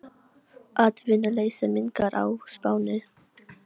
Atvinnuleysi minnkar á Spáni